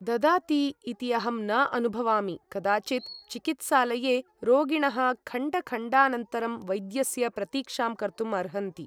ददाति इति अहं न अनुभवामि कदाचित् चिकित्सालये रोगिणः खण्डखण्डानन्तरं वैद्यस्य प्रतिक्षां कर्तुम् अर्हन्ति